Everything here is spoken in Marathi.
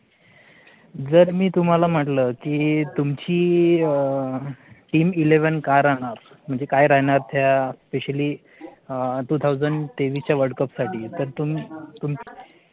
जर मी तुम्हाला म्हटलं कि तुमची team eleven काय राहणार, म्हणजे काय राहणार त्या SPECIALLY TWO THOUSAND तेवीस च्या WORLDCUP साठी? तर तुम्ही